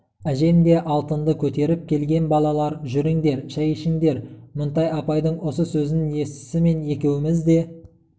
әжем де алтынды көтеріп келген -балалар жүріңдер шай ішіңдер мінтай апайдың осы сөзін естісімен екеуіміз де